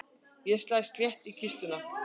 Ég slæ létt í kistuna.